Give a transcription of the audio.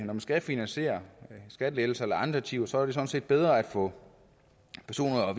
man skal finansiere skattelettelser eller andre ting er det sådan set bedre at få personer og